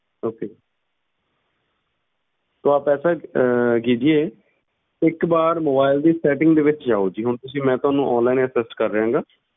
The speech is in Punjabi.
Okay ਤੋ ਆਪ ਐਸਾ ਅਹ ਕੀਜੀਏ ਇੱਕ ਵਾਰ mobile ਦੀ setting ਦੇ ਵਿੱਚ ਜਾਓ ਜੀ ਹੁਣ ਤੁਸੀਂ ਮੈਂ ਤੁਹਾਨੂੰ online assist ਕਰ ਰਿਹਾਂ ਗਾ।